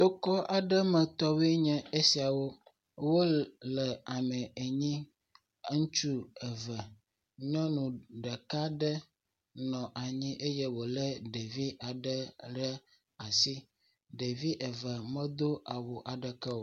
Tokɔ aɖe metɔ aɖewoe nye esiawo. Wole ame enyi. ŋutsu eve, nyɔnu ɖeka aɖe nɔ anyi eye wòlé ɖevi aɖe ɖe asi. Ɖevi eve medo awu aɖeke o.